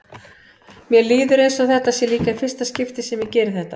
Mér líður eins og þetta sé líka í fyrsta skipti sem ég geri þetta.